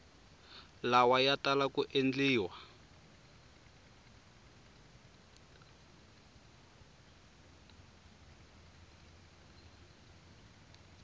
lawa ya tala ku endliwa